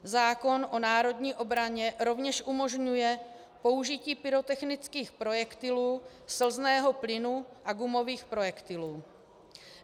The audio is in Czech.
Zákon o národní obraně rovněž umožňuje použití pyrotechnických projektilů, slzného plynu a gumových projektilů.